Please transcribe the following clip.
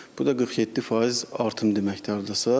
Bu da 47% artım deməkdir hardasa.